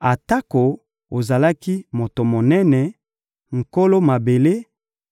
atako ozalaki moto monene, nkolo mabele,